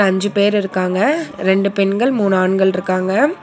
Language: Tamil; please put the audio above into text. அஞ்சு பேர் இருக்காங்க ரெண்டு பெண்கள் மூணு ஆண்கள் இருக்காங்க.